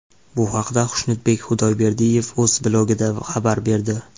Bu haqda Xushnudbek Xudayberdiyev o‘z blogida xabar berdi .